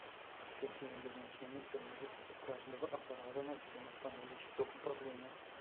какие обозначения приводят у каждого аппарата на схемах панелей щитов управления